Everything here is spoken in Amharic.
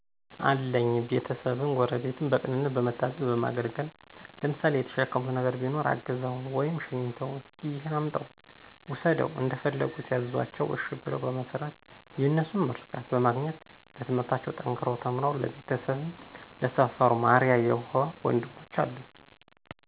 አለኝ ቤተሰብን፣ ጎረቤትን በቅንነት በመታዘዝ በማገልገል ለምሳሌ የተሸከሙት ነገር ቢኖር አግዘው/ሸኝተው እሰኪ እሄን አምጣው ውሰደው እንደፈለጉ ሲያዝዟቸው እሸ ብለው በመስራት የነሱን ምርቃት በማግኘት በትምህርታቸው ጠንከረው ተምረው ለቤተሰብም ለሰፈሩም አርያ የሆ ወንድሞች አሉኝ።